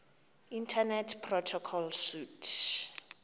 internet protocol suite